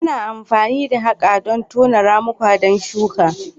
Ana amfani da haƙa don tono ramuka don shuka.